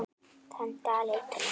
Þann dag leit hún ekki.